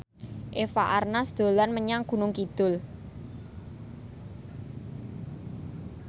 Eva Arnaz dolan menyang Gunung Kidul